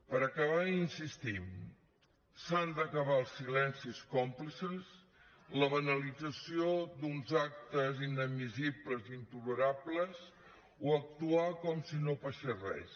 per acabar insistim que s’han d’acabar els silencis còmplices la banalització d’uns actes inadmissibles i intolerables o actuar com si no passés res